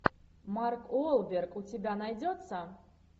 марк уолберг у тебя найдется